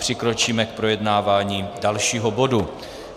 Přikročíme k projednávání dalšího bodu.